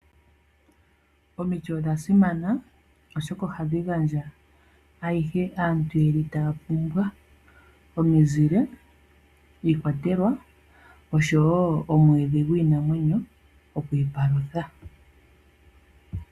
Omiti odha simana oshoka ohadhi gandja ayihe aantu yeli taya pumbwa omizile, iikwatelwa nomwiidhi gwiinamwenyo oku ipalutha.